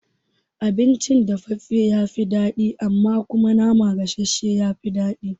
Abinci dafaffafe ya fi daɗi amma kuma nama gasashshe ya fi daɗi